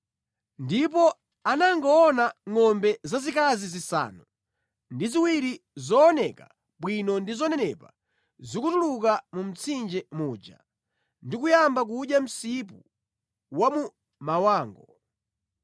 ndipo anangoona ngʼombe zazikazi zisanu ndi ziwiri zooneka bwino ndi zonenepa zikutuluka mu mtsinje muja ndi kuyamba kudya msipu wa mu mawango.